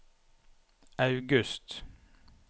august